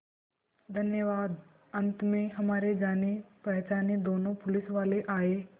धन्यवाद अंत में हमारे जानेपहचाने दोनों पुलिसवाले आए